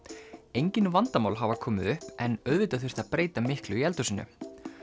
engir vandamál hafi komið upp en auðvitað þurfti að breyta miklu í eldhúsinu